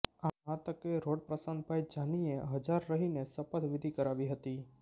આ તકે રોટ પ્રશાંતભાઈ જાનીએ હજાર રહીને શપથ વિધિ કરાવી હતી